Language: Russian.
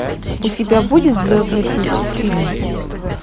у тебя будет звездный путь фильм